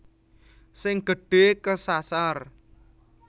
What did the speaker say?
Sing gedhe kesasar